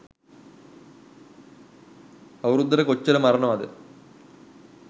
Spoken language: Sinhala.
අවුරුද්දට කොච්චර මරණවද